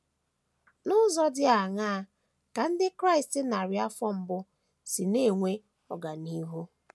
N’ụzọ dị aṅaa ka ndị Kraịst narị afọ mbụ si na - enwe ọganihu?